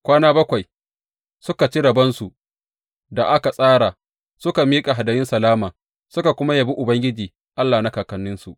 Kwana bakwai suka ci rabonsu da aka tsara, suka miƙa hadayun salama, suka kuma yabi Ubangiji Allah na kakanninsu.